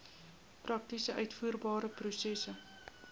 prakties uitvoerbare prosesse